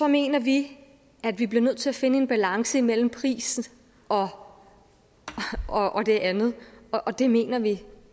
mener vi at vi bliver nødt til at finde en balance imellem pris og og det andet og det mener vi